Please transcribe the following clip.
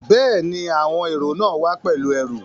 Bẹ́ẹ̀ni, àwọn èrò náà wá pẹ̀lú ẹrù